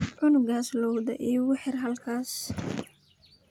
Cunugas lowda iikuxir halkas.